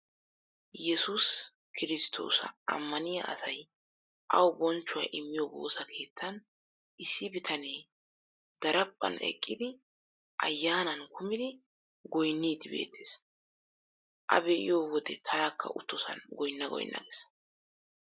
Yesuusi kirsttoosa ammaniya asay awu bonchchuwa immiya woosa kettan issi bitanee daraphphan eqqidi ayyaanan kumidi goynniiddi beettes. A be'iyode tanakka uttosan goynna goynna ges.